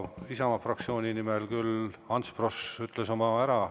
Isamaa fraktsiooni nimel küll Ants Frosch ütles oma ära.